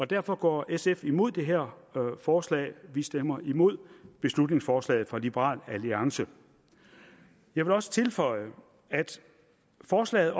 derfor går sf imod det her forslag vi stemmer imod beslutningsforslaget fra liberal alliance jeg vil også tilføje at forslaget